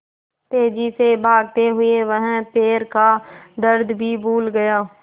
तेज़ी से भागते हुए वह पैर का दर्द भी भूल गया